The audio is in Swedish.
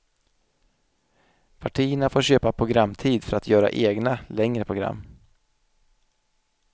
Partierna får köpa programtid för att göra egna, längre program.